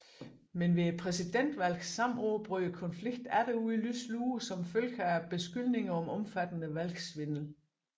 Men ved præsidentvalget samme år brød konflikten atter ud i lys lue som følge af beskyldninger om omfattende valgsvindel